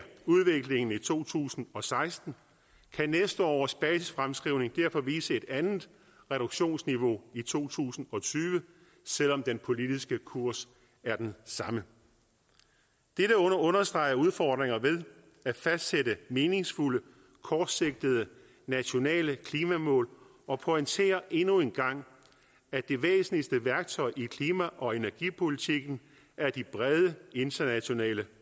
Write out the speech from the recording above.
udviklingen i to tusind og seksten kan næste års basisfremskrivning derfor vise et andet reduktionsniveau i to tusind og tyve selv om den politiske kurs er den samme dette understreger udfordringerne ved at fastsætte meningsfulde kortsigtede nationale klimamål og pointerer endnu en gang at det væsentligste værktøj i klima og energipolitikken er de brede internationale